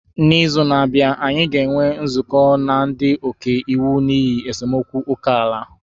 N'izu na-abịa, anyị ga-enwe nzukọ na ndị ọka iwu n'ihi esemokwu ókè-ala